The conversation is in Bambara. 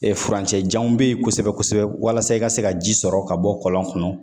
furancɛ janw be ye kosɛbɛ-kosɛbɛ walasa i ka se ka ji sɔrɔ ka bɔ kɔlɔn kɔnɔ.